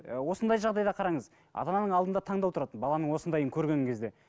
осындай жағдайда қараңыз ата ананың алдында таңдау тұрады баланың осындайын көрген кезде